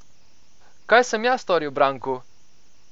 Kaj sem jaz storil Branku?